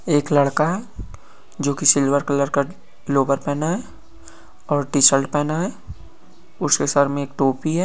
ऐक लड़का है जो की सिल्वर कलर का लोअर पहना है और टीशर्ट पहना है उसके सर में ऐक टोपी है।